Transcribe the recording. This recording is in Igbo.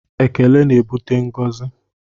Ekele na-ebute ngọzi